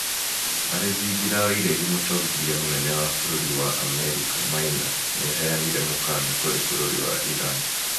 Arĩ thingira wa iregi mũtongoria munene wa bũrũri wa Amerika Maina nĩaheanire mũkaana kũrĩ bũrũri wa Iran